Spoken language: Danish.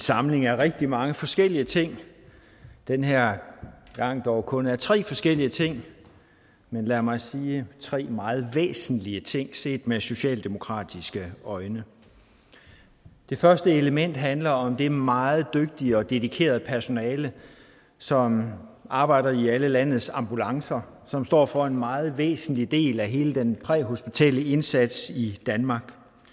samling af rigtig mange forskellige ting den her gang dog kun tre forskellige ting men lad mig sige tre meget væsentlige ting set med socialdemokratiske øjne det første element handler om det meget dygtige og dedikerede personale som arbejder i alle landets ambulancer og som står for en meget væsentlig del af hele den præhospitale indsats i danmark